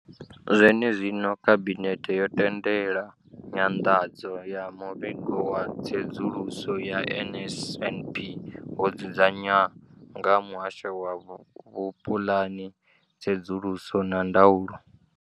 Zwenezwino, Khabinethe yo tendela nyanḓadzo ya muvhigo wa tsedzuluso ya NSNP wo dzudzanywaho nga muhasho wa vhupuḽani, tsedzuluso na ndaulo.